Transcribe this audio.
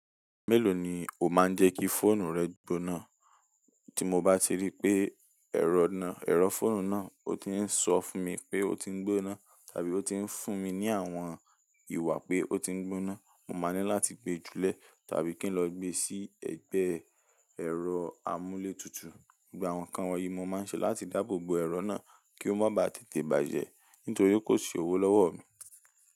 Mélòó ni ó máa ń jẹ́ kí fóònù rẹ gbóná? Tí mo bá ti rí pé ẹ̀rọ náà, ẹ̀rọ fóònù náà ó ti ń sọ fún mi pé ó ti ń gbóná tàbí ó ti ń fún mi ní àwọn ìwà pé ó ti ń gbóná, mo máa ní láti gbé e jùlẹ́ tàbí kí n lọ gbé e sí ẹ̀gbẹ́ ẹ̀rọ amúlé tutù. Gbogbo àwọn kan wọ̀nyí, mo máa ń ṣe láti dáàbò bo ẹ̀rọ náà kí ó má ba tètè bàjẹ́ nítorí kò ṣi òwò lọ́wọ́ mi.